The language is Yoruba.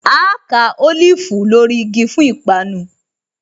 Áá ká Olifu lórí igi fún ìpanu